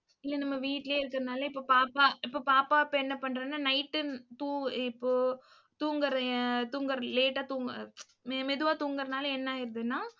இல்லை, நம்ம வீட்டிலேயே இருக்கிறதுனாலே இப்போ பாப்பா இப்போ பாப்பா இப்போ என்ன பண்றாங்கன்னா night தூ~ இப்போ தூங்குறேன் தூங்கற late ஆ தூ~ மெதுவா தூங்குறதுனால என்ன ஆயிடுதுன்னா